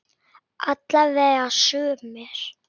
Alla vega sumir.